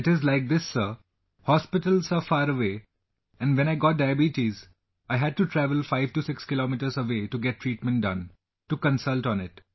It is like this Sir, hospitals are far away and when I got diabetes, I had to travel 56 kms away to get treatment done...to consult on it